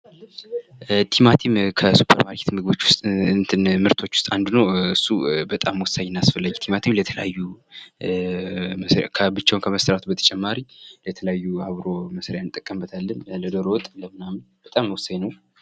ቲማቲም ከሱፐር ማርኬት ምርቶች ውስጥ አንዱ ነው። እሱ በጣም ወሳኝና አስፈላጊ ቲማቲም የተለያዩ ብቻውን ከመሰራቱ በተጨማሪ ለተለያዩ አብሮ መስሪያ እንጠቀምበታለን ለዶሮ ወጥ ለምናምን በጣም ወሳኝ ነው።